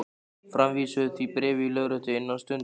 Framvísaðu því bréfi í lögréttu innan stundar.